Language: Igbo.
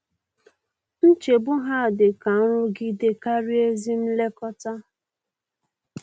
Nchegbu ha dị ka nrụgide karịa ezi nlekọta.